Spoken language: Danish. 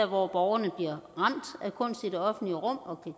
hvor borgerne bliver ramt af kunst i det offentlige rum og